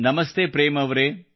ನಮಸ್ತೆ ಪ್ರೇಮ್ ಅವರೇ